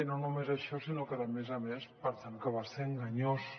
i no només això sinó que a més a més pensem que va ser enganyós